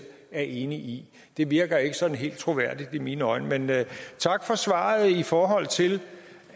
er enig i det virker ikke sådan helt troværdigt i mine øjne men tak for svaret i forhold til